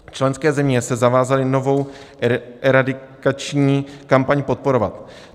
Členské země se zavázaly novou eradikační kampaň podporovat.